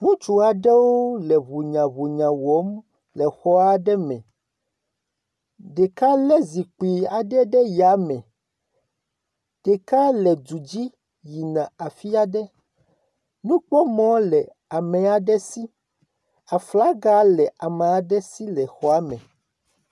Ŋutsu aɖewo le ŋunyaɔunya wɔm le xɔ aɖe me. Ɖeka le zipkui aɖe ɖe ya me. Ɖeka le du dzi yina afi aɖe. Nukpɔmɔ le ame aɖe si. Aflaga le amea aɖe si le xɔ me.